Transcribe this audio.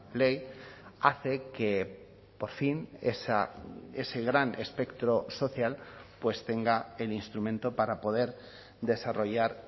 ley hace que por fin ese gran espectro social pues tenga el instrumento para poder desarrollar